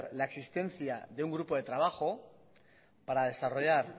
la existencia de un grupo de trabajo para desarrollar